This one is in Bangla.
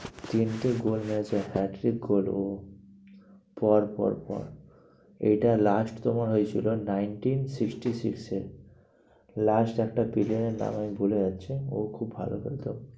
তিনটে goal মেরেছে। hat trick goal ওহ পর পর পর পর এটা last তোমার হয়েছিল nineteen sixty-six এ last একটা player এর নাম আমি ভুলে যাচ্ছি, ও খুব ভালো খেলতো।